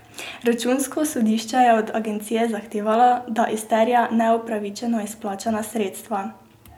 Računsko sodišče je od Agencije zahtevalo, da izterja neupravičeno izplačana sredstva.